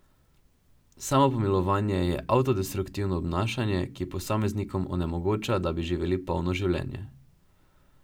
Samopomilovanje je avtodestruktivno obnašanje, ki posameznikom onemogoča, da bi živeli polno življenje.